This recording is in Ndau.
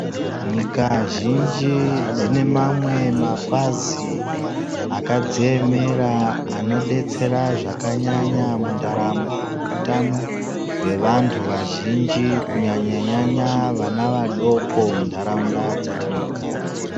Nyika zhinji dzinemamwe mapazi akadziemera anodetsera zvakanyanya mudaramo yehutano yevantu vazhinji. kunyanya nyanya kuvana vadoko muntaraunda dzatinogara.